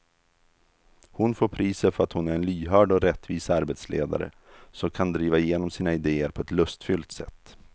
Hon får priset för att hon är en lyhörd och rättvis arbetsledare som kan driva igenom sina idéer på ett lustfyllt sätt.